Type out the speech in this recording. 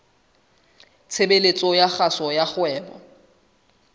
tshebeletso ya kgaso ya kgwebo